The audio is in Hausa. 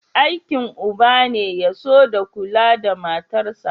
Aikin uba ne ya so da kula da matarsa.